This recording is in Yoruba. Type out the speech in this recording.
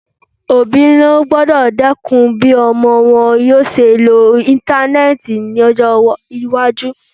Òbí ló gbọ́dọ̀ dẹ́kun bí ọmọ wọn yóò ṣe lo Íńtánẹ́ẹ̀tì lọ́jọ́ iwájú.